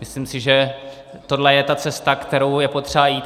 Myslím si, že tohle je ta cesta, kterou je potřeba jít.